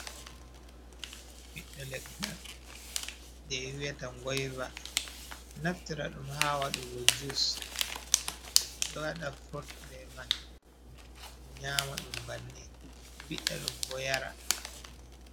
Ɓiɓɓe leggal je wiata ɗum ngoyva naftira ɗum ha waɗugo jus, ɓe ɗo waɗa furut be man, ɓe ɗo nyama ɗum banni, ɓiɗɗa ɗum yara.